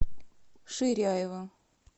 ширяева